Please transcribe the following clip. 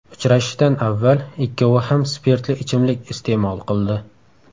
Uchrashishdan avval ikkovi ham spirtli ichimlik iste’mol qildi.